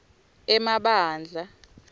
emabandla